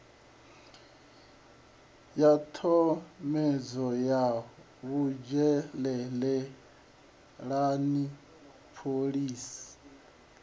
ya tshomedzo ya vhudzhenelelani phoḽisi